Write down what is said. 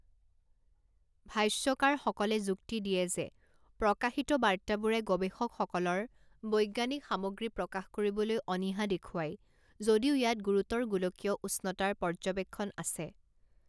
ভাষ্যকাৰসকলে যুক্তি দিয়ে যে প্ৰকাশিত বাৰ্তাবোৰে গৱেষকসকলৰ বৈজ্ঞানিক সামগ্ৰী প্ৰকাশ কৰিবলৈ অনীহা দেখুৱায়, যদিও ইয়াত গুৰুতৰ গোলকীয় উষ্ণতাৰ পৰ্যৱেক্ষণ আছে।